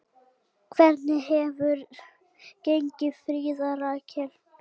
Hvernig hefur gengið, Fríða Rakel?